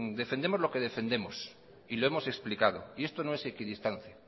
defendemos lo que defendemos y lo hemos explicado y esto no es equidistancia